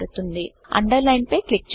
underline పై click చేయండి